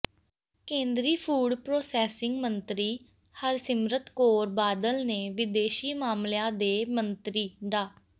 ਕੇਂਦਰੀ food processing ਮੰਤਰੀ ਹਰਸਿਮਰਤ ਕੌਰ ਬਾਦਲ ਨੇ ਵਿਦੇਸ਼ੀ ਮਾਮਲਿਆਂ ਦੇ ਮੰਤਰੀ ਡਾ